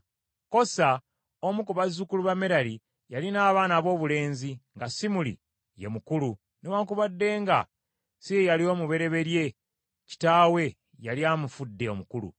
Kosa, omu ku bazzukulu ba Merali yalina abaana aboobulenzi nga Simuli ye mukulu, newaakubadde nga si ye yali omubereberye kitaawe yali amufudde omukulu;